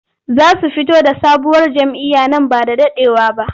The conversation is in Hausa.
Za su fito da sabuwar jam'iyya nan ba da daɗewa ba.